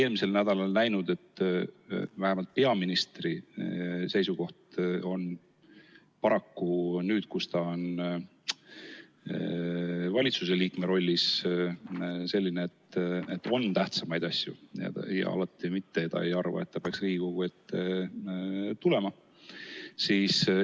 Eelmisel nädalal me nägime, et vähemalt peaministri seisukoht on paraku nüüd, kus ta on valitsuse liikme rollis, selline, et on tähtsamaid asju, ja alati ta ei arva, et peaks Riigikogu ette tulema.